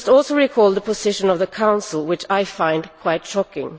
We must also recall the position of the Council, which I find quite shocking.